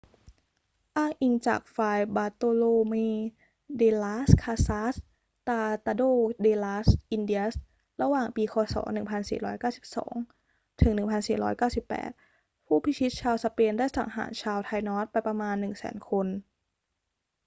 อ้างอิงจาก ฟราย บาร์โตโลเม เด ลาส คาซาส ตราตาโด เด ลาส อินเดียส ระหว่างปี ค.ศ. 1492 ถึง 1498 ผู้พิชิตชาวสเปนได้สังหารชาวไทนอสไปประมาณ 100,000 คน